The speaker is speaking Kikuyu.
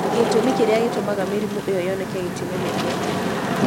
Gĩtũmi kĩrĩa gĩtũmaga mĩrimũ ĩyo yoneke gĩtimenyekete.